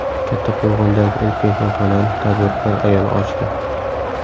Kattaqo‘rg‘ondagi ilk mehmonxonani tadbirkor ayol ochdi.